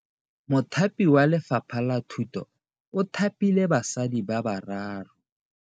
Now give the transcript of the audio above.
Mothapi wa Lefapha la Thuto o thapile basadi ba ba raro.